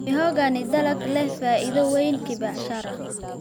Mihogo ni dalag leh faa'iido weyn kibiashara.